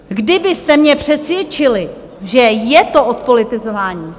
Kdybyste mě přesvědčili, že je to odpolitizování...